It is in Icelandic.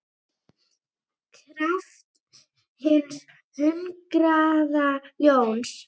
kraft hins hungraða ljóns.